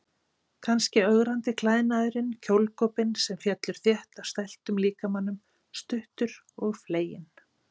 Kannski ögrandi klæðnaðurinn, kjólgopinn sem fellur þétt að stæltum líkamanum, stuttur og fleginn.